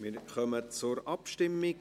Wir kommen zur Abstimmung.